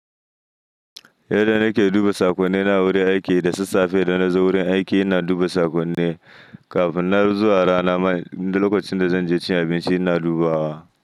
Yadda nake duba saƙonni na a wurin aiki, da sassafe idan nazo wurin aiki ina duba saƙonni, kafin nan zuwa rana ma lokacin da zanje cin abinci ina dubawa.